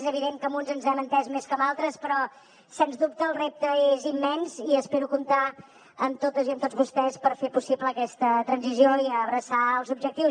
és evident que amb uns ens hem entès més que amb altres però sens dubte el repte és immens i espero comptar amb totes i amb tots vostès per fer possible aquesta transició i abraçar ne els objectius